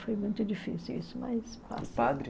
Foi muito difícil isso, mas... O padre?